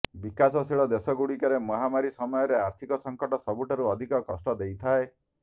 ବିକାଶଶୀଳ ଦେଶଗୁଡ଼ିକରେ ମହାମାରୀ ସମୟରେ ଆର୍ଥିକ ସଙ୍କଟ ସବୁଠାରୁ ଅଧିକ କଷ୍ଟ ଦେଇଥାଏ